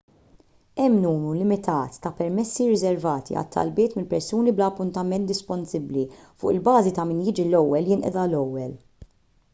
hemm numru limitat ta' permessi rriservati għal talbiet minn persuni bla appuntament disponibbli fuq il-bażi ta' min jiġi l-ewwel jinqeda l-ewwel